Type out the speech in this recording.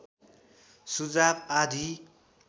सुझाव आदि